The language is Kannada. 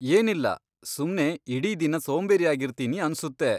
ಏನಿಲ್ಲ, ಸುಮ್ನೆ ಇಡೀ ದಿನ ಸೋಂಬೇರಿಯಾಗಿರ್ತೀನಿ ಅನ್ಸುತ್ತೆ.